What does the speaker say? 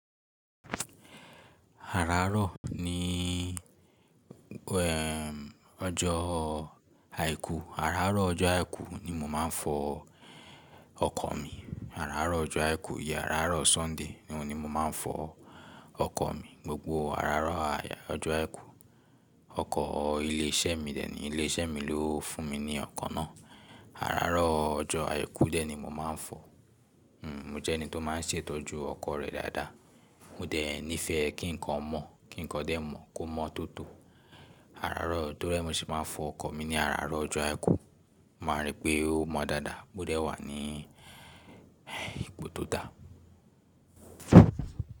Àràárọ̀ ní ẹm ọjọ́ àìkú, àràárọ̀ ọjọ́ àìkú ni mo máa ń fọ ọkọ̀ mi. Àràárọ̀ ọjọ́ àìkú yeah àràárọ̀ Sunday ni wón ni mo máa ń fọ ọkọ̀ mi. Gbogbo àràárọ̀ àjà ọjọ́ àìkú. Ọkọ̀ ilé iṣẹ́ mi dẹ̀ ni, ilé iṣẹ́ mi ló fún mi ní ọkọ̀ náà. Àràárọ̀ ọjọ́ àìkú dẹ̀ ni mo máa ń fọ. Hmm mo jẹ́ ẹni tó máa ń ṣètọ́jú ọkọ̀ rẹ̀ dáadáa. Mo dẹ̀ nífẹ̀ẹ́ kí nǹkan mọ̀, kí nǹkan dẹ̀ mọ̀, kó mọ́ tótó. Àràárọ̀ torí mó se máa ń fọ ọkọ̀ mi ní àràárọ̀ ọjọ́ àìkú, mo maa n ri pé ó mọ́ dáadáa, ó dẹ wà ní ipò tó dà.